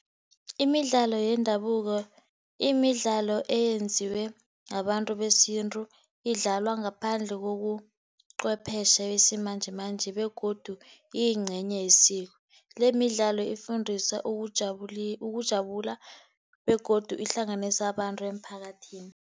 Imidlalo yendabuko, imidlalo eyenziwe ngabantu besintu idlalwa ngaphandle kobucwephetjhe besimanjemanje, begodu iyincenye yesiko, le midlalo efundisa ukujabula, ukujabula begodu ihlanganisa abantu emphakathini.